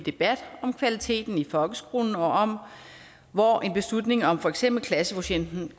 debat om kvaliteten i folkeskolen og om hvor en beslutning om for eksempel klassekvotienten